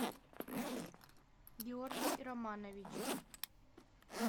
георгий романович